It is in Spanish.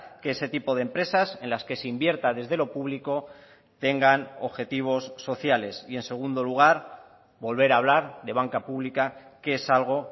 que ese tipo de empresas en las que se invierta desde lo público tengan objetivos sociales y en segundo lugar volver a hablar de banca pública que es algo